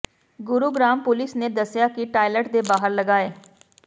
Gurugram police ਨੇ ਦੱਸਿਆ ਕਿ ਟਾਇਲਟ ਦੇ ਬਾਹਰ ਲਗਾਏ